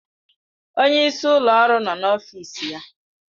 Onye isi ụlọ ọrụ nọ n'ọfịs ya.